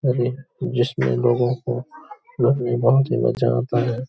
और ये जिसमें लोगों को क्लब में बहुत ही मजा आता है |